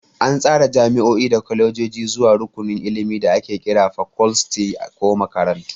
An tsara jami'o'i da kwalejoji zuwa rukunin ilimi da ake kira fakoltis ko makarantu.